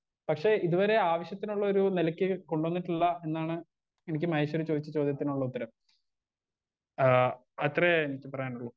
Speaker 1 പക്ഷെ ഇത് വരെ ആവശ്യത്തിനുള്ളൊരു നിലക്ക് കൊണ്ടന്നിട്ടില്ല എന്നാണ് എനിക്ക് മഹേശ്വരി ചോദിച്ച ചോദ്യത്തിനുള്ള ഉത്തരം ആ അത്രേ എനിക്ക് പറയാനുള്ളൂ.